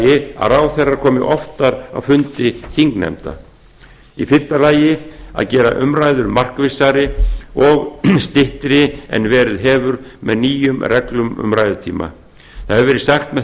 fjórði að ráðherrar komi oftar á fundi þingnefnda fimmta að gera umræður markvissari og styttri en verið hefur með nýjum reglum um ræðutíma það hefur verið sagt að með